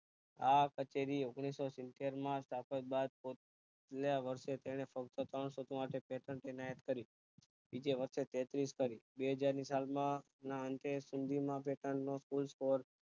આ સત્યાદી ઓગનીશો સિતેર માં સ્થાપક બાદ ગયા વર્ષે તેને સૌ માટે કરી ત્યાર કરી બીજે વર્ષે તેત્રીસશ કરી બે હજાર ની સાલ માં ના અંતે સુરભિ મા નો